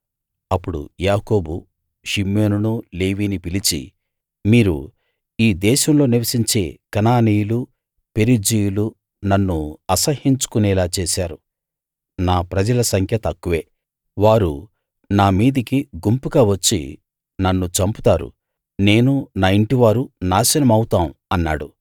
అప్పుడు యాకోబు షిమ్యోనునూ లేవినీ పిలిచి మీరు ఈ దేశంలో నివసించే కనానీయులూ పెరిజ్జీయులూ నన్ను అసహ్యించుకొనేలా చేశారు నా ప్రజల సంఖ్య తక్కువే వారు నా మీదికి గుంపుగా వచ్చి నన్ను చంపుతారు నేను నా ఇంటివారు నాశనమవుతాం అన్నాడు